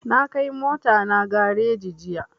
Na kai mota na gareji jiya